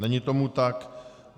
Není tomu tak.